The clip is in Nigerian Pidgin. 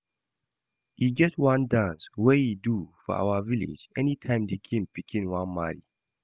E get one dance we ey do for our village anytime the king pikin wan marry